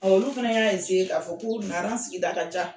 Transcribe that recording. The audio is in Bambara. Ɔ olu fana y'a k'a fɔ k'u bɛ na sigida ka